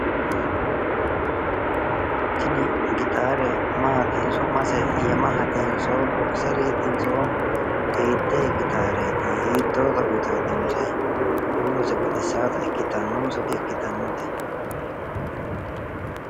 Tini gitaare maati su'mase yinannihu? bokiseriitinso hiittee gitaareeti? huurose baxissaata ikkitannonso dikkitannote?